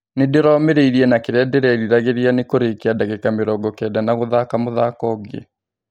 Nĩndĩromĩrire na kĩrĩa ndĩreriragĩria nĩ kũrĩkia ndagĩka mĩrongo kenda na gũthaka mũthako ũngĩ.